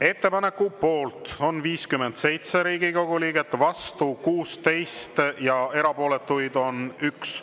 Ettepaneku poolt on 57 Riigikogu liiget, vastu 16 ja erapooletuid on 1.